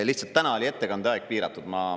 Lihtsalt täna oli ettekande aeg piiratud.